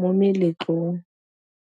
mo meletlong.